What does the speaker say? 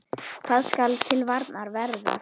Hvað skal til varnar verða?